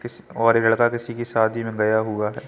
किस-और ये लड़का किसी कि शादी में गया हुआ है।